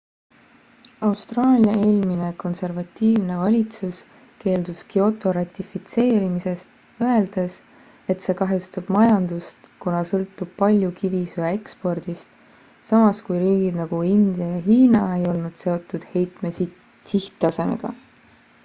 austraalia eelmine konservatiivne valitsus keeldus kyoto ratifitseerimisest öeldes et see kahjustab majandust kuna sõltub palju kivisöe ekspordist samas kui riigid nagu india ja hiina ei olnud seotud heitme sihttasemega